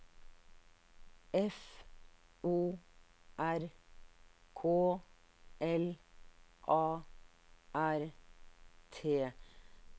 F O R K L A R T